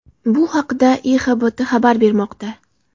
Bu haqda IXBT xabar bermoqda .